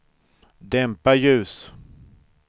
dämpa ljus